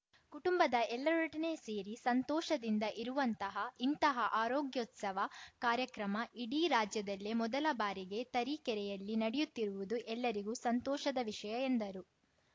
ಕುಟುಂಬದ ಎಲ್ಲರೊಡನೆ ಸೇರಿ ಸಂತೋಷದಿಂದ ಇರುವಂತಹ ಇಂತಹ ಆರೋಗ್ಯೋತ್ಸವ ಕಾರ್ಯಕ್ರಮ ಇಡೀ ರಾಜ್ಯದಲ್ಲೇ ಮೊದಲ ಬಾರಿಗೆ ತರೀಕೆರೆಯಲ್ಲಿ ನಡೆಯುತ್ತಿರುವುದು ಎಲ್ಲರಿಗೂ ಸಂತೋಷದ ವಿಷಯ ಎಂದರು